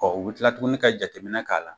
Ɔ u bɛ tila tuguni ka jateminɛ k'a la